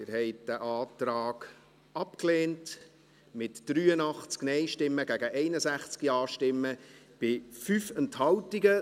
Sie haben diesen Antrag abgelehnt, mit 83 Nein- gegen 61 Ja-Stimmen bei 5 Enthaltungen.